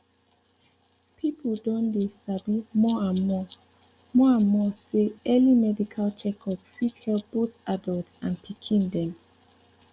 people don dey sabi more and more more and more say early medical check up fit help both adults and pikin dem